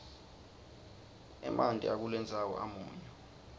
emanti akulendzawo amunyu